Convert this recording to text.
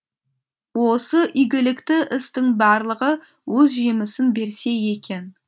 осы игілікті істің барлығы өз жемісін берсе екен